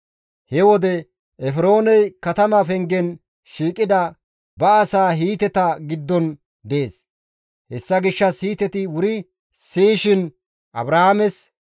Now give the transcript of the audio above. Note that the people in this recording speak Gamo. He wode Efrooney katama pengen shiiqida ba asaa Hiiteta giddon dees; hessa gishshas Hiiteti wuri siyishin Abrahaames,